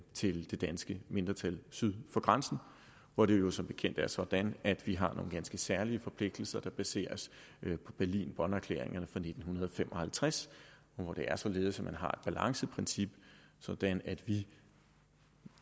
til det danske mindretal syd for grænsen hvor det jo som bekendt er sådan at vi har nogle ganske særlige forpligtelser der baseres på berlin bonn erklæringerne fra nitten fem og halvtreds hvor det er således at man har balanceprincip sådan at vi